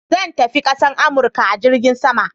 Zan tafi kasan Amurka a jirgin sama.